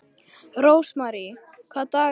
Rósmary, hvaða dagur er í dag?